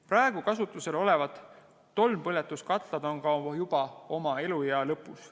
Praegu kasutusel olevad tolmpõletuskatlad on ka juba oma eluea lõpus.